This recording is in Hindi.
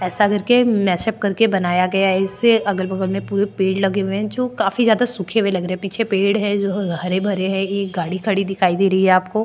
ऐसा करके मेशप करके बनाया गया है इससे अगल बगल में पूरे पेड़ लगे हुए है जो काफी जादा सूखे हुए लग रहे है पीछे पेड़ है जो हरे भरे है एक गाडी खड़ी दिखाई दे रही है आपको --